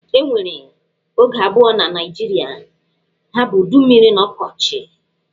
E nwere oge abụọ na Naịjirịa, ha bụ udu mmiri na ọkọchi.